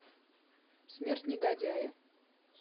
смерть негодяя